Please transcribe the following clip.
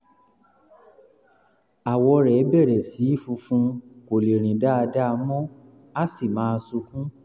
àwọ̀ rẹ̀ bẹ̀rẹ̀ sí í funfun kò lè rìn dáadáa mọ́ á sì máa sunkún